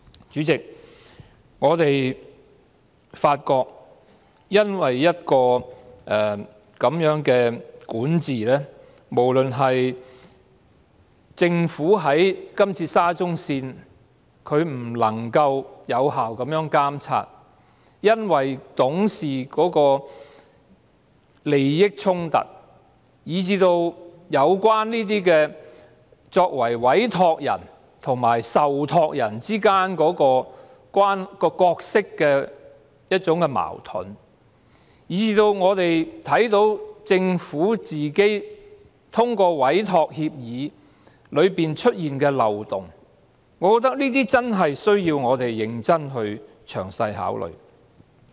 主席，我們發現這樣的管治、政府在這次沙中線事件中未能有效作出監察，無論是因為董事的利益衝突，以至作為委託人和受託人之間的角色矛盾，以及我們看見政府在通過委託協議中出現的漏洞，我認為我們也真的須認真和詳細地考慮這些方面。